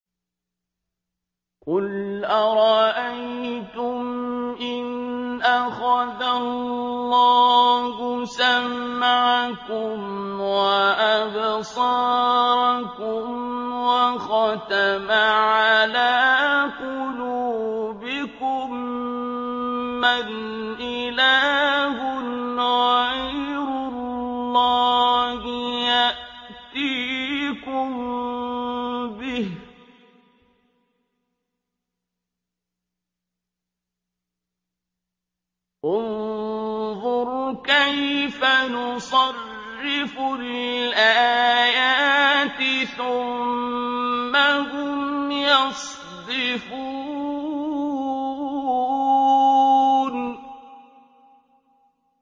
قُلْ أَرَأَيْتُمْ إِنْ أَخَذَ اللَّهُ سَمْعَكُمْ وَأَبْصَارَكُمْ وَخَتَمَ عَلَىٰ قُلُوبِكُم مَّنْ إِلَٰهٌ غَيْرُ اللَّهِ يَأْتِيكُم بِهِ ۗ انظُرْ كَيْفَ نُصَرِّفُ الْآيَاتِ ثُمَّ هُمْ يَصْدِفُونَ